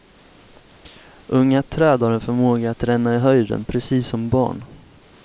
Unga träd har en förmåga att ränna i höjden, precis som barn.